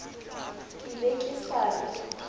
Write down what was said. ke be ke sa re